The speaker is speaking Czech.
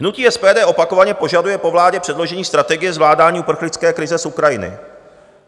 Hnutí SPD opakovaně požaduje po vládě předložení strategie zvládání uprchlické krize z Ukrajiny.